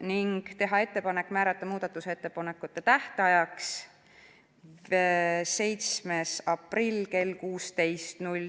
ning teha ettepanek määrata muudatusettepanekute tähtajaks 7. aprill kell 16 .